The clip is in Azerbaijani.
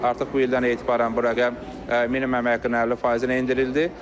Artıq bu ildən etibarən bu rəqəm minimum əmək haqqının 50 faizinə endirildi.